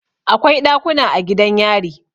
Akwai ɗakuna a gidan yari.